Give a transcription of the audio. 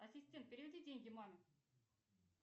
ассистент переведи деньги маме